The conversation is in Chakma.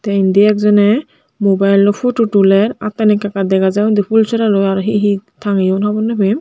te indi ek Jone mobile loi photo tuler attani ekka ekka dega jai undi fhool soralloi aro he he tangeyun hobor nw pem.